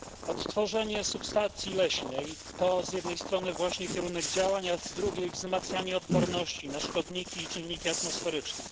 Odtworzenie substancji leśnej to z jednej strony właśnie kierunek działań, a z drugiej wzmacnianie odporności na szkodniki i czynniki atmosferyczne.